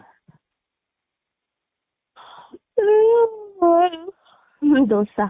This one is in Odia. ହୁଁ ଦୋସା